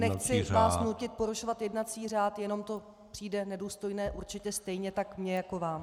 Nechci vás nutit porušovat jednací řád, jenom to přijde nedůstojné určitě stejně tak mně jako vám.